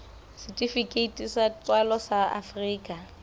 setifikeiti sa tswalo sa afrika